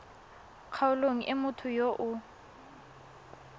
kgaolong e motho yo o